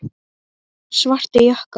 Svartir jakkar.